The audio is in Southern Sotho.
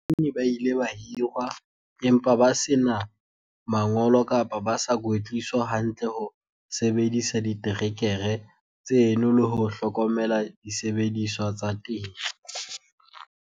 Bakganni ba ile ba hirwa empa ba se na mangolo kapa ba sa kwetliswa hantle ho sebedisa diterekere tseno le ho hlokomela disebediswa tsa temo.